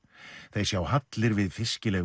þeir sjá hallir við